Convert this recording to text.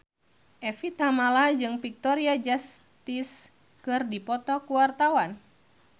Evie Tamala jeung Victoria Justice keur dipoto ku wartawan